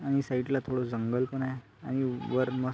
आणि साइड ला थोड जंगल आहे आणि वर मस --